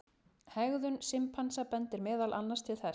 Hegðun simpansa bendir meðal annars til þess.